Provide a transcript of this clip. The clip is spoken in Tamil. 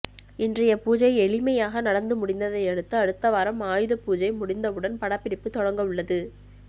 இன்றைய பூஜை எளிமையாக நடந்து முடிந்ததை அடுத்து அடுத்த வாரம் ஆயுதபூஜை முடிந்தவுடன் படப்பிடிப்பு தொடங்கவுள்ளது